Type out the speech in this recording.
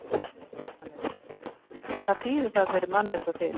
Jóhannes: Hvað þýðir það fyrir mann eins og þig?